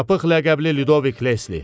Çapıq ləqəbli Ludovik Lesli.